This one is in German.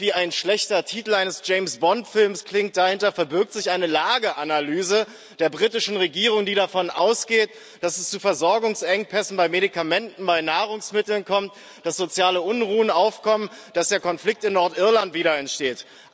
Was wie ein schlechter Titel eines James Bond Films klingt, dahinter verbirgt sich eine Lageanalyse der britischen Regierung, die davon ausgeht, dass es zu Versorgungsengpässen bei Medikamenten, bei Nahrungsmitteln kommt, dass soziale Unruhen aufkommen, dass der Konflikt in Nordirland wieder entsteht.